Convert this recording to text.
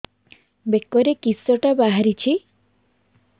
ବେକରେ କିଶଟା ବାହାରିଛି